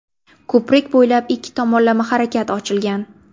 Ko‘prik bo‘ylab ikki tomonlama harakat ochilgan.